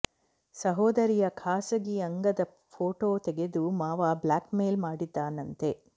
ಸಹೋದರಿಯ ಖಾಸಗಿ ಅಂಗದ ಫೋಟೋ ತೆಗೆದು ಮಾವ ಬ್ಲಾಕ್ ಮೇಲ್ ಮಾಡಿದ್ದಾನಂತೆ